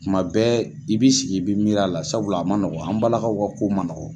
Kuma bɛɛ i b'i sigi i bɛ miiri la sabula a man nɔgɔn an balakaw ka ko man nɔgɔn.